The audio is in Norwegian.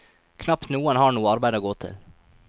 Knapt noen har noe arbeid å gå til.